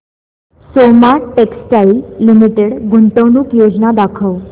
Soma textile limited गुंतवणूक योजना दाखव